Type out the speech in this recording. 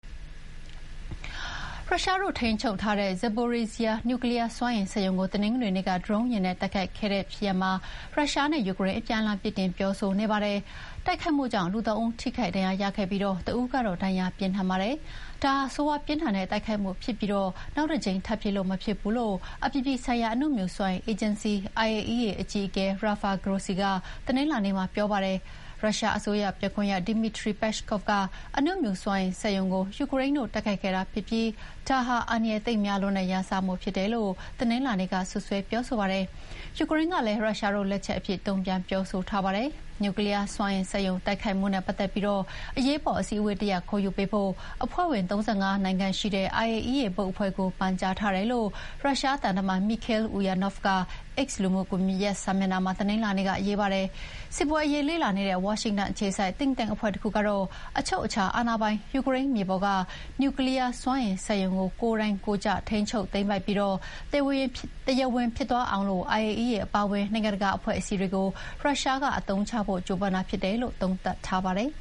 ရုရှားတို့ထိန်းချုပ်ထားတဲ့ Zaporizhzhia အနူမြူစွမ်းအင်စက်ရုံကို တနင်္ဂနွေနေ့ ဒရုန်းယာဥ်နဲ့ တိုက်ခိုက်ခံခဲ့ရတဲ့ဖြစ်ရပ်မှာ ရုရှားနဲ့ ယူကရိန်း အပြန်အလှန်ပြစ်တင်ပြောဆိုနေကြပါတယ်။ တိုက်ခိုက်မှုကြောင့် လူ၃ ဦး ထိခိုက်ဒဏ်ရာရခဲ့ပြီး တဦးကတော့ ဒဏ်ရာပြင်းထန်ပါတယ်။ ဒါဟာ ဆိုးရွားပြင်းထန်တဲ့တိုက်ခိုက်မှုဖြစ်ပြီး နောက်တကြိမ်ထပ်ဖြစ်လို့ မရဘူးလို့ အပြည်ပြည်ဆိုင်ရာ အနုမြူစွမ်းအင်အေဂျင်စီ IAEA အကြီးအကဲ Rafael Grossi ကတနင်္လာနေ့မှာ ပြောပါတယ်။ ရုရှားအစိုးရပြောခွင့်ရသူ Dmitry Peskov က အနုမြူစွမ်းအင်စက်ရုံကို ယူကရိန်းတို့ တိုက်ခိုက်ခဲ့တာဖြစ်ပြီး ဒါဟာ အန္တရာယ်သိပ်များတဲ့ ရန်စမှုဖြစ်တယ်လို့ တနင်္လာနေ့က စွပ်စွဲပြောဆိုပါတယ်။ ယူကရိန်းကလည်း ရုရှားတို့လက်ချက်အဖြစ် တုန့်ပြန်ပြောဆိုပါတယ်။ နျူကလီးယားစွမ်းအင်စက်ရုံတိုက်ခိုက်မှုနဲ့ပတ်သက်ပြီး အရေးပေါ်အစည်းအဝေးတရပ်ခေါ်ယူပေးဖို့ အဖွဲ့ဝင် ၃၅ နိုင်ငံရှိတဲ့ IAEA ဘုတ်အဖွဲ့ကို ပန်ကြားထားတယ်လို့ ရုရှားသံတမန် မီခေးလ် အူယာနော့ဗ်က X လူမှုစာမျက်နှာမှာ တနင်္လာနေ့က ရေးပါတယ်။ စစ်ပွဲအရေးလေ့လာနေတဲ့ ဝါရှင်တန်အခြေစိုက် Think Tank အဖွဲ့တခုကတော့ အချုပ်အခြာအာဏာပိုင် ယူကရိန်းမြေပေါ်က နျူကလီးယားစက်ရုံကို ကိုယ်တိုက်ကိုယ်ကျ ထိန်းချုပ်သိမ်းပိုက်ပြီး၊ တရားဝင်ဖြစ်သွားအောင် IAEA အပါအဝင် နိုင်ငံတကာအဖွဲ့အစည်းတွေကို ရုရှားက အသုံးချဖို့ကြိုးပမ်းတာလို့ သုံးသပ်ပါတယ်